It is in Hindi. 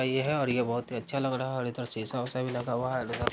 ये है और ये बहुत ही अच्छा लग रहा है और इधर शीशा उषा भी लगा हुआ है और उधर --